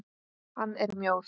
Hann er mjór.